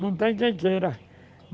Não tem quem queira.